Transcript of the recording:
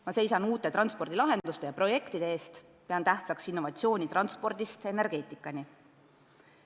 Ma seisan uute transpordilahenduste ja muude projektide eest, pean tähtsaks innovatsiooni kõikjal transpordist energeetikani.